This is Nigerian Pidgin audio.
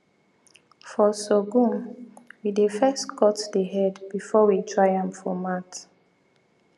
for sorghum we dey first cut the head before we dry am for mat